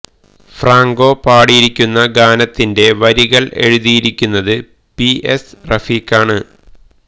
Franco പാടിയിരിക്കുന്ന ഗാനത്തിന്റെ വരികൾ എഴുതിയിരിക്കുന്നത് പി എസ് റഫീഖാണ്